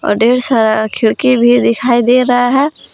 ढेर सारा खिड़की भी दिखाई दे रहा है।